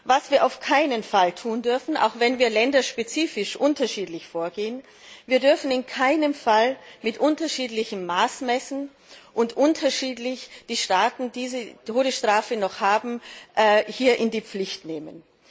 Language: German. Was wir auf keinen Fall tun dürfen auch wenn wir länderspezifisch unterschiedlich vorgehen Wir dürfen in keinem Fall mit unterschiedlichem Maß messen und die Staaten, die die Todesstrafe noch haben, unterschiedlich in die Pflicht nehmen.